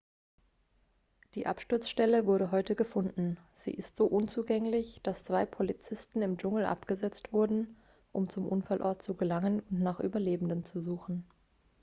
die absturzstelle wurde heute gefunden sie ist so unzugänglich dass zwei polizisten im dschungel abgesetzt wurden um zum unfallort zu gelangen und nach überlebenden zu suchen